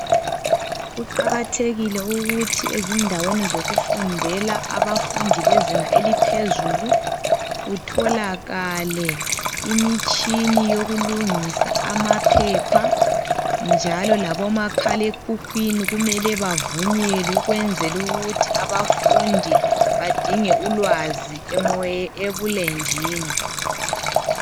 Kuqakathekile ukuthi endaweni zokufundela abafundi bezinga eliphezulu kutholakale imitshina yokulungisa amaphepha njalo labomakhalekhukhwini kumele bavunyelwe ukwenzela ukuthi abafundi badinge ulwazi ebulenjini.